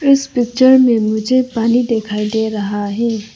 इस पिक्चर में मुझे पानी दिखाई दे रहा है।